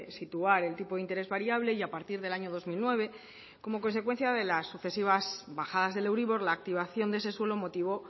situar el tipo de interés variable y a partir del año dos mil nueve como consecuencia de las sucesivas bajadas del euribor la activación de ese suelo motivó